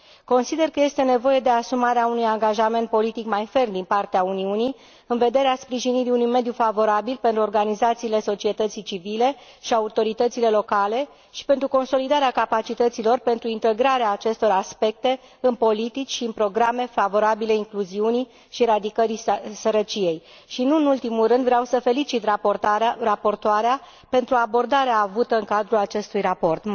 Consider că este nevoie de asumarea unui angajament politic mai ferm din partea Uniunii, în vederea sprijinirii unui mediu favorabil pentru organizațiile societății civile și autoritățile locale și pentru consolidarea capacității lor pentru integrarea acestor aspecte în politici și în programe favorabile incluziunii și eradicării sărăciei. Nu în ultimul rând, vreau să o felicit pe raportoare pentru abordarea avută în cadrul acestui raport.